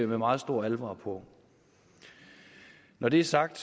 med meget stor alvor når det er sagt